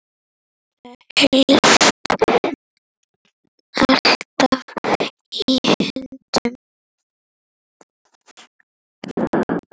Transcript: Þetta helst alltaf í hendur.